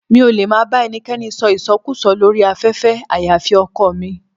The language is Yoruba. Mi ò lè máa bá ẹnikẹ́ni sọ ìsọkúùsọ lórí afẹ́fẹ́ àyàfi ọkọọ̀ mi.